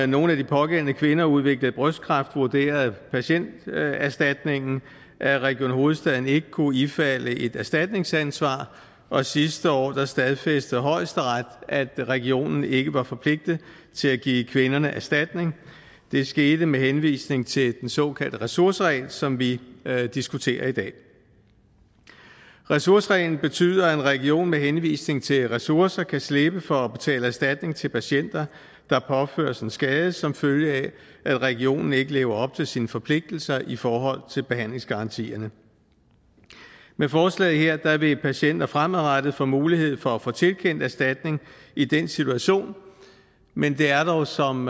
nogle af de pågældende kvinder udviklede brystkræft vurderede patienterstatningen at region hovedstaden ikke kunne ifalde et erstatningsansvar og sidste år stadfæstede højesteret at regionen ikke var forpligtet til at give kvinderne erstatning det skete med henvisning til den såkaldte ressourceregel som vi diskuterer i dag ressourcereglen betyder at en region med henvisning til ressourcer kan slippe for at betale erstatning til patienter der påføres en skade som følge af at regionen ikke lever op til sine forpligtelser i forhold til behandlingsgarantierne med forslaget her vil patienter fremadrettet få mulighed for at få tilkendt erstatning i den situation men det er dog som